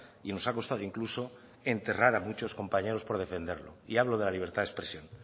y nos ha costado incluso enterrar a muchos compañeros por defenderlo y hablo de la libertad de expresión